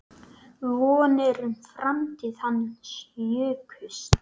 Vonir um framtíð hans jukust.